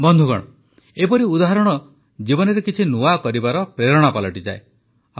ବନ୍ଧୁଗଣ ଏପରି ଉଦାହରଣ ଜୀବନରେ କିଛି ନୂଆ କରିବାର ପ୍ରେରଣା ପାଲଟିଯାଏ